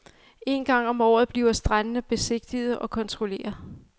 En gang om året bliver strandene besigtiget og kontrolleret.